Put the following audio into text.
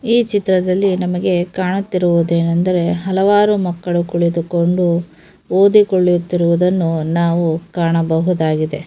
ಈ ಚಿತ್ರದಲ್ಲಿ ನಮಗೆ ಕಾಣುತ್ತಿರುವುದೇನೆಂದರೆ ಹಲವಾರು ಮಕ್ಕಳು ಕುಳಿತುಕೊಂಡು ಓದಿ ಕೊಳ್ಳುತ್ತಿರುವುದನ್ನು ನಾವು ಕಾಣಬಹುದಾಗಿದೆ.